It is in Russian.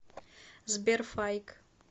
сбер файк